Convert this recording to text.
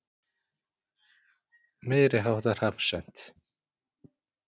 Meiriháttar hafsent.